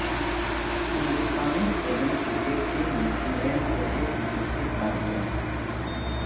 ہندوستانی women cricket team نے England کو ایک وکٹ سے ہرا دیا